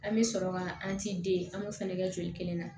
An bɛ sɔrɔ ka an ti an b'o fɛnɛ kɛ joli kelen na